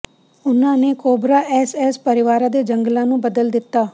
ਉਨ੍ਹਾਂ ਨੇ cobra SS ਪਰਵਾਰਾਂ ਦੇ ਜੰਗਲਾਂ ਨੂੰ ਬਦਲ ਦਿੱਤਾ